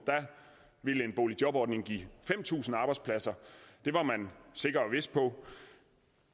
ville en boligjobordning give fem tusind arbejdspladser det var man sikker og vis på